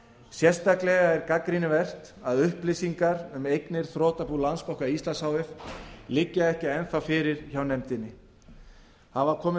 sérstaklega er gagnrýnivert að upplýsingar um eignir þrotabús landsbanka íslands h f liggja ekki enn þá fyrir hjá nefndinni hafa komið